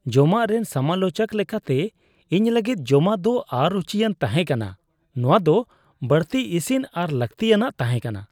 ᱡᱚᱢᱟᱜ ᱨᱮᱱ ᱥᱚᱢᱟᱞᱳᱪᱚᱠ ᱞᱮᱠᱟᱛᱮ, ᱤᱧ ᱞᱟᱹᱜᱤᱫ ᱡᱚᱢᱟᱜ ᱫᱚ ᱚᱼᱨᱩᱪᱤᱭᱟᱱ ᱛᱟᱦᱮᱸ ᱠᱟᱱᱟ ᱾ ᱱᱚᱶᱟ ᱫᱚ ᱵᱟᱹᱲᱛᱤ ᱤᱥᱤᱱ ᱟᱨ ᱞᱟᱹᱠᱛᱤᱼᱟᱱᱟᱜ ᱛᱟᱦᱮᱸ ᱠᱟᱱᱟ ᱾